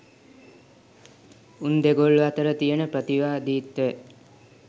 උන් දෙගොල්ලො අතර තියන ප්‍රතිවාදිත්වය